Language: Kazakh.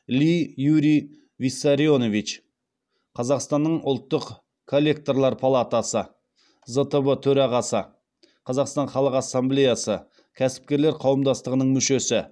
ли юрий виссарионович қазақстанның ұлттық коллекторлар палатасы зтб төрағасы қазақстан халық ассамблеясы кәсіпкерлер қауымдастығының мүшесі